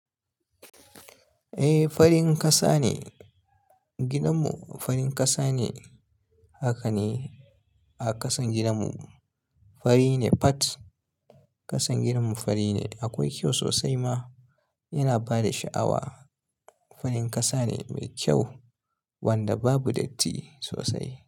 Eh farin kasa ne gidanmu, farin kasa ne. Haka ne a ƙasan gidanmu fari ne. Fat ƙasan gidanmu fari ne. Akwai kyau sosai ma yana bada sha'awa. Farin kasa ne mai kyau wanda babu datti sosai.